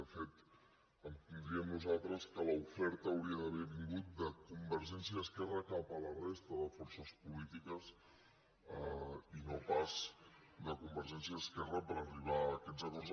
de fet entendríem nosaltres que l’oferta hauria d’haver vingut de convergència i esquerra cap a la resta de forces polítiques i no pas de convergència i esquerra per arribar a aquests acords